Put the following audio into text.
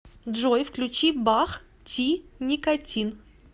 джой включи бах ти никотин